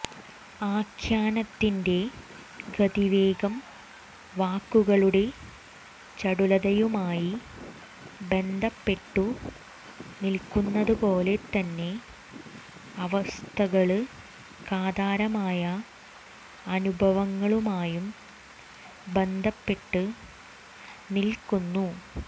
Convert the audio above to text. ആഖ്യാനത്തിന്റെ ഗതിവേഗം വാക്കുകളുടെ ചടുലതയുമായി ബന്ധപ്പെട്ടു നില്ക്കുന്നതുപോലെ തന്നെ അവസ്ഥകള്ക്കാധാരമായ അനുഭവങ്ങളുമായും ബന്ധപ്പെട്ടു നില്ക്കുന്നു